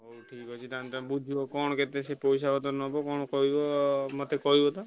ହଉ ଠିକ୍ ଅଛି ତାହେଲେ ତାଙ୍କ ବୁଝିବ କଣ କେତେ ସେ ପଇସା ପତ୍ର ନବ କଣ କହିବ ମତେ କହିବ ତ।